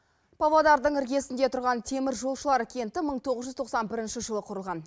павлодардың іргесінде тұрған теміржолшылар кенті мың тоғыз жүз тоқсан бірінші жылы құрылған